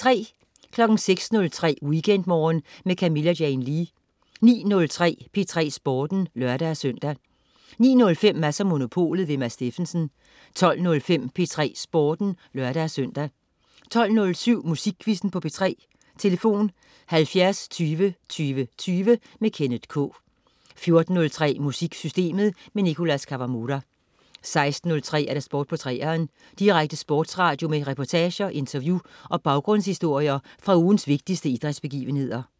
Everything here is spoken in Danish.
06.03 WeekendMorgen med Camilla Jane Lea 09.03 P3 Sporten (lør-søn) 09.05 Mads & Monopolet. Mads Steffensen 12.05 P3 Sporten (lør-søn) 12.07 Musikquizzen på P3. Tlf.: 70 20 20 20. Kenneth K 14.03 MusikSystemet. Nicholas Kawamura 16.03 Sport på 3'eren. Direkte sportsradio med reportager, interview og baggrundshistorier fra ugens vigtigste idrætsbegivenheder